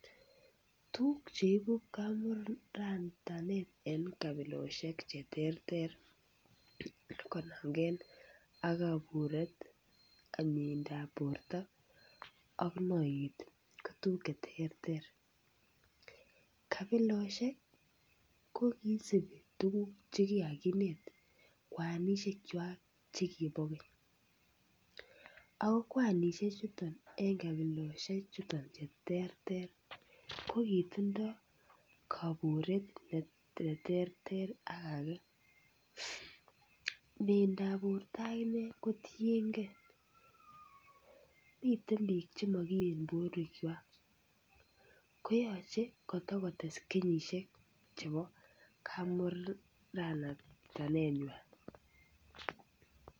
Tukuk che ibu kamuratanet eng' kabiloshek che terter konamgei ak kaburet ak mieindo ap borto ak noiyet ko tukuk che terter. Kabiloshek ko kiisubi tukuk che kikakineet kwanishek chwaak che kibo keny. Ako kwanishechutok eng' kabiloshechuton che terter ko kitindoi kaburet ne ter ter ak age. Miendo ap borto akine kotienkei . Miten pik che makimen porwekchwak. Koyachei kotokotes kenyishek chebo kamuratanetnywa.